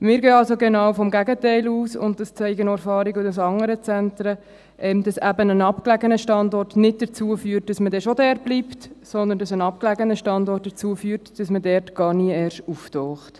Wir gehen also genau vom Gegenteil aus, und das zeigen auch Erfahrungen aus anderen Zentren, nämlich, dass ein abgelegener Standort nicht führt dazu, dass man dort bleibt, sondern dazu, dass man dort gar nicht erst auftaucht.